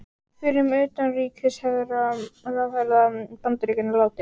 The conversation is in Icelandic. Fyrrum utanríkisráðherra Bandaríkjanna látinn